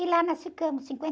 E lá nós ficamos